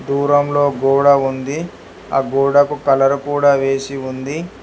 దూరంలో గోడ ఉంది. ఆ గోడకు కలర్ కూడా వేసి ఉంది.